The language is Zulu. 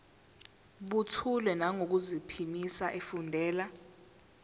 buthule nangokuphimisa efundela